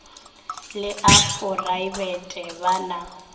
le a phoraebete ba na